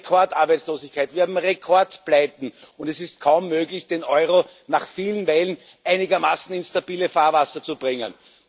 Wir haben Rekordarbeitslosigkeit und Rekordpleiten, und es ist kaum möglich, den Euro nach vielen Wellen einigermaßen ins stabile Fahrwasser zu bringen.